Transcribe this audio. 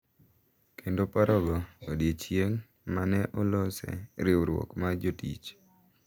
Kendo parogo odiechieng` ma ne olose riwruok mar jotich.